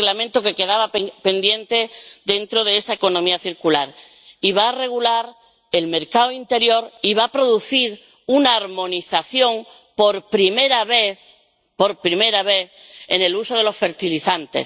Es el Reglamento que quedaba pendiente dentro de la economía circular y que va a regular el mercado interior y va a producir una armonización, por primera vez —por primera vez—, en el uso de los fertilizantes.